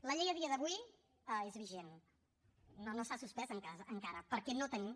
la llei a dia d’avui és vigent no s’ha suspès encara perquè no tenim